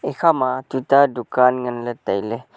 ekhama tuita dukan nganley tailey.